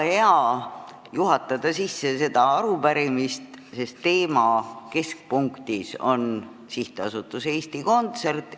Mul on väga hea seda arupärimist sisse juhatada, sest teema keskpunktis on SA Eesti Kontsert.